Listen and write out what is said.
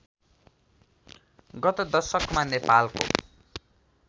गत दशकमा नेपालको